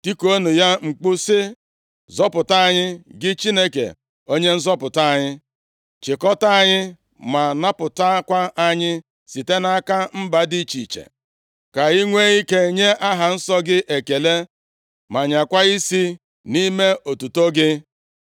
Tikuonụ ya mkpu sị, “Zọpụta anyị, gị Chineke, Onye nzọpụta anyị; chịkọta anyị, ma napụtakwa anyị site nʼaka mba dị iche iche, ka anyị nwee ike nye aha nsọ gị ekele; ma nyaakwa isi nʼime otuto gị.”